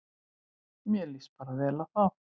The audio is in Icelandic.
Mér líst bara vel á þá